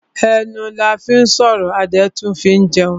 Ẹnu la fín sọ̀rọ̀ a dẹ̀ tún fín jẹun.